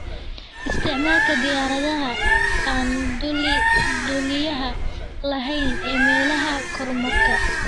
Isticmaalka diyaaradaha aan duuliyaha lahayn ee meelaha kormeerka.